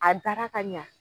A dara ka ɲa